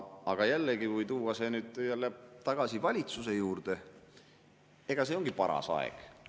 Aga jällegi, kui tuua see nüüd tagasi valitsuse juurde, eks see ongi paras aeg.